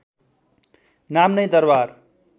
नाम नै दरबार